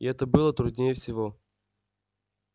и это было труднее всего